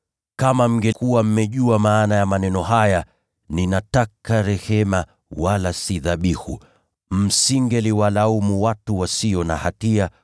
Kama mngekuwa mmejua maana ya maneno haya, ‘Nataka rehema, wala si dhabihu,’ msingewalaumu watu wasio na hatia,